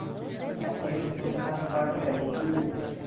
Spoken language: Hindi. वह एक पुस्तक पढ़ रहीं थी